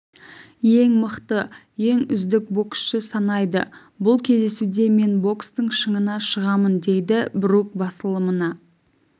ең мықты ең үздік боксшы санайды бұл кездесуде мен бокстың шыңына шығамын дейді брук басылымына